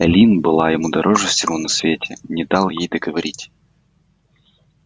эллин была ему дороже всего на свете не дал ей договорить